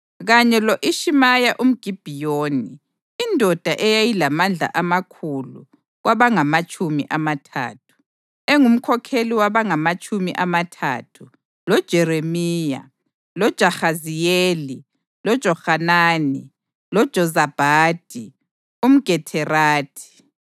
kanye lo-Ishimaya umGibhiyoni, indoda eyayilamandla amakhulu kwabangamatshumi amathathu, engumkhokheli wabangamatshumi amathathu, loJeremiya, loJahaziyeli, loJohanani, loJozabhadi umGederathi,